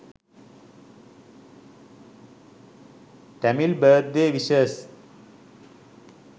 tamil birthday wishes